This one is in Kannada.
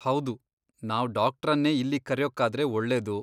ಹೌದು, ನಾವ್ ಡಾಕ್ಟ್ರನ್ನೇ ಇಲ್ಲಿಗ್ ಕರ್ಯೋಕ್ಕಾದ್ರೆ ಒಳ್ಳೇದು.